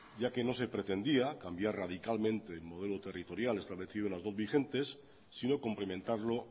ya que no se pretendía cambiar radicalmente el modelo territorial establecido en las dot vigentes sino complementarlo